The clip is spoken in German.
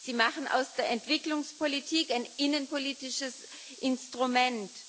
Sie machen aus der Entwicklungspolitik ein innenpolitisches Instrument.